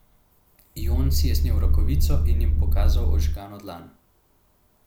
Jon si je snel rokavico in jim pokazal ožgano dlan.